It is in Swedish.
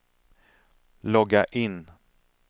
logga in